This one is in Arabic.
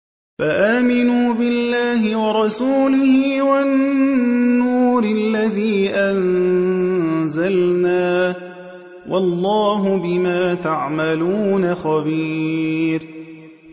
فَآمِنُوا بِاللَّهِ وَرَسُولِهِ وَالنُّورِ الَّذِي أَنزَلْنَا ۚ وَاللَّهُ بِمَا تَعْمَلُونَ خَبِيرٌ